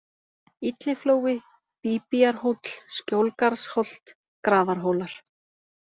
Illiflói, Bíbíarhóll, Skjólgarðsholt, Grafarhólar